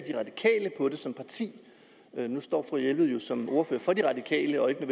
på det som parti nu står fru jelved jo som ordfører for de radikale og ikke